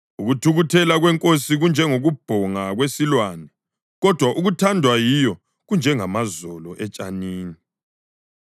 Ukuthukuthela kwenkosi kunjengokubhonga kwesilwane, kodwa ukuthandwa yiyo kunjengamazolo etshanini.